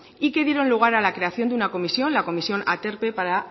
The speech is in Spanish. y que dieron lugar a la creación de una comisión la comisión aterpe para